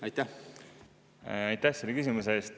Aitäh selle küsimuse eest!